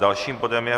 Dalším bodem je